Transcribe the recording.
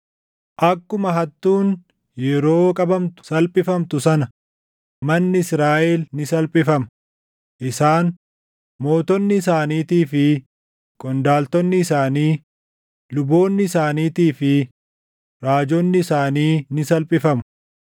“Akkuma hattuun yeroo qabamtu salphifamtu sana manni Israaʼel ni salphifama; isaan, mootonni isaaniitii fi qondaaltonni isaanii, luboonni isaaniitii fi raajonni isaanii ni salphifamu.